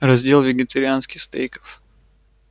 раздел вегетарианских стейков